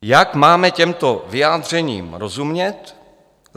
Jak máme těmto vyjádřením rozumět?